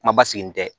Kuma basigilen tɛ